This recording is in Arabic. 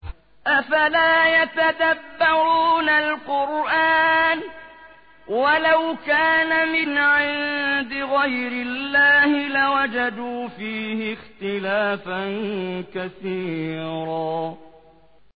أَفَلَا يَتَدَبَّرُونَ الْقُرْآنَ ۚ وَلَوْ كَانَ مِنْ عِندِ غَيْرِ اللَّهِ لَوَجَدُوا فِيهِ اخْتِلَافًا كَثِيرًا